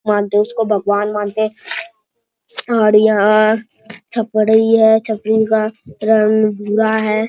मानते है उसको भगवान मानते हैं और यहाँ छपरी है छपरी का रंग भूरा है।